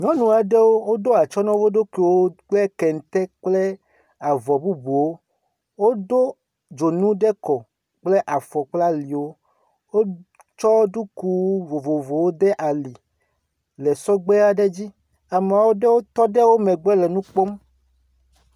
Nyɔnu aɖewo woɖo atsɔ na wo ɖokuiwo kple kente kple avɔ bubuwo. Wodo dzonu ɖe kɔ kple afɔ kple aliwo. Wotsɔ ɖuku vovovowo de ali le sɔgbe aɖe dzi. Ame aɖewo tɔ ɖe wo megbe le nu kpɔm.